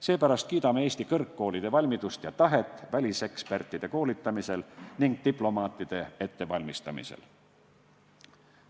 Seepärast kiidame Eesti kõrgkoolide valmidust ja tahet koolitada väliseksperte ning valmistada ette diplomaate.